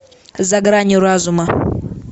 за гранью разума